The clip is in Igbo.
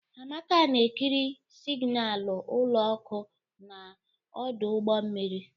Amaka na-ekiri signalu ụlọ ọkụ na ọdụ ụgbọ mmiri.